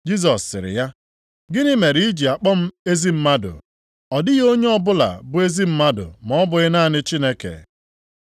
Jisọs sịrị ya, “Gịnị mere i ji akpọ m ezi mmadụ? Ọ dịghị onye ọbụla bụ ezi mmadụ ma ọ bụghị naanị Chineke.